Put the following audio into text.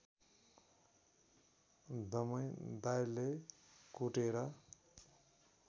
दमै दाइले कुटेर